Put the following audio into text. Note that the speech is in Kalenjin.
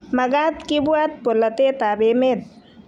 magat kibwat bolotetab emet.